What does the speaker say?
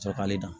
Sɔrɔ k'ale dan